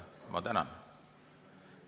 Ma tänan.